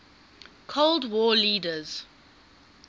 cold war leaders